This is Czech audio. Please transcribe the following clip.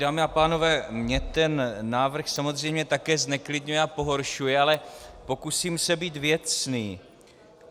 Dámy a pánové, mě ten návrh samozřejmě také zneklidňuje a pohoršuje, ale pokusím se být věcný.